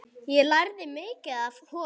Ég lærði mikið af honum.